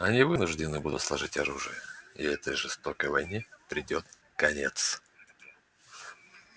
они вынуждены будут сложить оружие и этой жестокой войне придёт конец